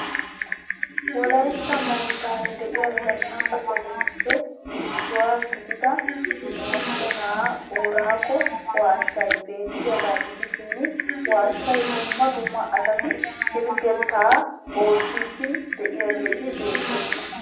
Wolaytta moottan de'iya zanaqa sohotuppee issuwa gidida mochena booraago waashshaay bettiyagaa gidishiin waashshaa dumma dumma asati pilgettaa ottidi de'iyaageetti beettoosona.